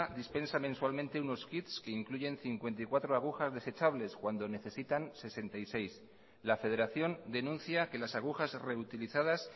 dispensa mensualmente unos kits que incluyen cincuenta y cuatro agujas desechables cuando necesitan sesenta y seis la federación denuncia que las agujas reutilizadas